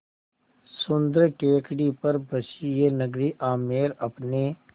सुन्दर टेकड़ी पर बसी यह नगरी आमेर अपने